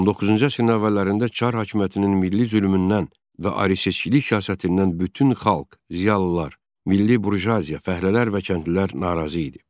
19-cu əsrin əvvəllərində çar hakimiyyətinin milli zülmündən və ruslaşdırıcı siyasətindən bütün xalq, ziyalılar, milli burjuaziya, fəhlələr və kəndlilər narazı idi.